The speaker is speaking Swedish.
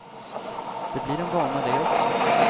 Det blir en vana det också.